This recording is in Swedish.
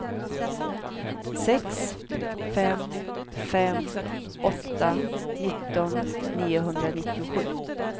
sex fem fem åtta nitton niohundranittiosju